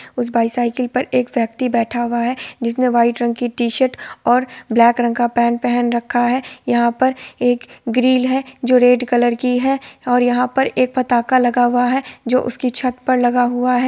उस बाईसाइकल पे एक व्यक्ति बैठा हुआ है जिसने व्हाइट रंग की टी-शर्ट और ब्लैक रंग की पेंट पहन रखा है| और यहा पर एक ग्रील है जो रेड कलर की है| और यहा पर एक पताका लगा हुआ है जो उसके छत पे लगा हुआ है।